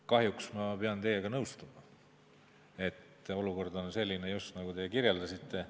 Kahjuks ma pean teiega nõustuma, et olukord on just selline, nagu te kirjeldasite.